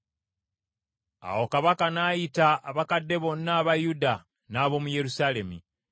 Awo kabaka n’ayita abakadde bonna aba Yuda n’ab’omu Yerusaalemi.